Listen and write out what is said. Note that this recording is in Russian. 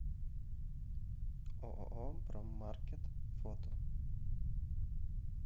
ооо проммаркет фото